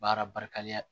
Baara barikalen